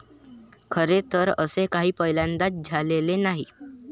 खरे तर असे काही पहिल्यांदाच झालेले नाही.